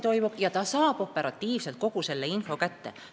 Kogu info laekub operatiivselt otse inimesele.